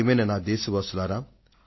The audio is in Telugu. ప్రియమైన నా దేశ వాసులారా